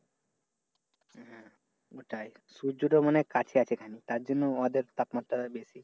ওটাই সূর্য তো মনে হয় কাছে আছে। তার জন্য ওদের তাপমাত্রা বেশি।